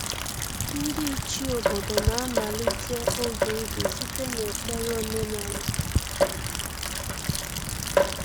Ndị Ichie obodo na-amalite oge ubi site n’ekpere omenala.